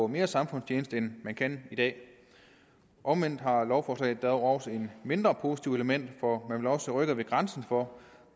mere samfundstjeneste end man kan i dag omvendt har lovforslaget dog også et mindre positivt element for man vil også rykke ved grænsen for